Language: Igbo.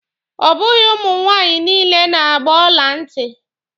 Ọ bụghị ụmụ nwaanyị niile na-agba ọla ntị.